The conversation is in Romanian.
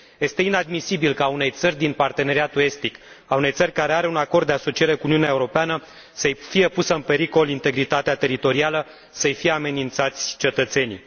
Este inadmisibil ca unei țări din Parteneriatul estic, unei țări care are un acord de asociere cu Uniunea Europeană să îi fie pusă în pericol integritatea teritorială, să îi fie amenințați cetățenii.